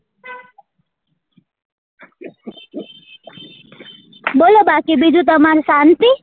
બોલો બાકી બીજું તમાર શાંતિ?